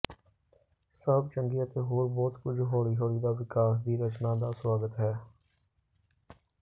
ਸਭ ਚੰਗੇ ਅਤੇ ਹੋਰ ਬਹੁਤ ਕੁਝ ਹੌਲੀ ਹੌਲੀ ਦਾ ਵਿਕਾਸ ਦੀ ਰਚਨਾ ਦਾ ਸੁਆਗਤ ਹੈ